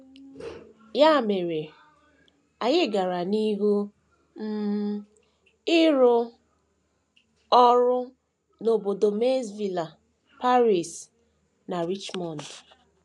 Ya mere, anyị gara n’ihu um ịrụ ọrụ n’obodo Maysville, Paris, na Richmond.